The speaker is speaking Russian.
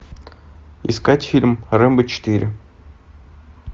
искать фильм рэмбо четыре